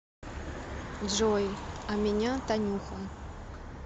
джой а меня танюха